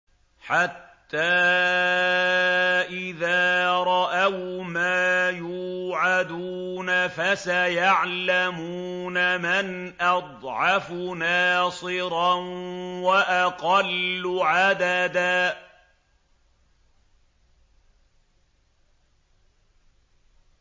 حَتَّىٰ إِذَا رَأَوْا مَا يُوعَدُونَ فَسَيَعْلَمُونَ مَنْ أَضْعَفُ نَاصِرًا وَأَقَلُّ عَدَدًا